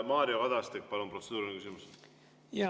Mario Kadastik, palun, protseduuriline küsimus!